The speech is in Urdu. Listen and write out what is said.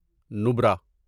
نبرا